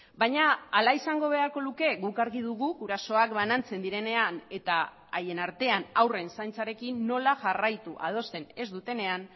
baina hala izango beharko luke guk argi dugu gurasoak banantzen direnean eta haien artean haurren zaintzarekin nola jarraitu adosten ez dutenean